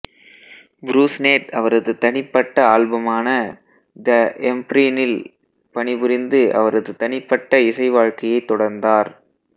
புருஸ்னேட் அவரது தனிப்பட்ட ஆல்பமான த எம்ப்ரீனில் பணிபுரிந்து அவரது தனிப்பட்ட இசை வாழ்க்கையைத் தொடர்ந்தார்